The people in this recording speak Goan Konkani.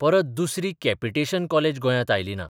परत दुसरी कॅपिटेशन कॉलेज गोंयांत आयली ना.